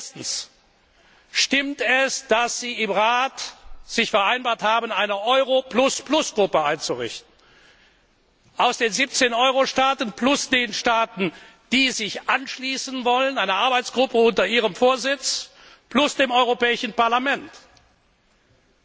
Erstens Stimmt es, dass Sie im Rat vereinbart haben, eine Euro Gruppe aus den 17 Euro Staaten plus den Staaten, die sich anschließen wollen, einer Arbeitsgruppe unter Ihrem Vorsitz plus dem Europäischen Parlament einzurichten?